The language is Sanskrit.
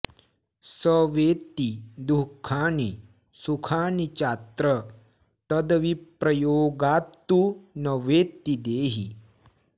स वेत्ति दुःखानि सुखानि चात्र तद्विप्रयोगात्तु न वेत्ति देही